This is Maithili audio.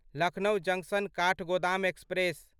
Lucknow junction Kathgodam express